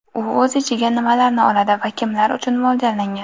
U o‘z ichiga nimalarni oladi va kimlar uchun mo‘ljallangan?